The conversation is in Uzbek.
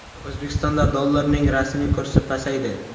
O‘zbekistonda dollarning rasmiy kursi pasaydi.